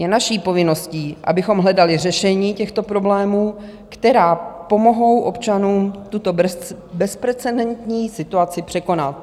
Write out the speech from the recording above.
Je naší povinností, abychom hledali řešení těchto problémů, která pomohou občanům tuto bezprecedentní situaci překonat.